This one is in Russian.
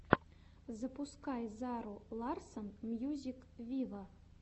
запускай зару ларсон мьюзик виво